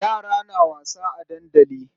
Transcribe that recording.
Yara na wasa a dandali.